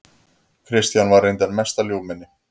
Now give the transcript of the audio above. Kristján var reyndar mesta ljúfmenni.